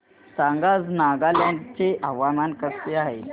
सांगा आज नागालँड चे हवामान कसे आहे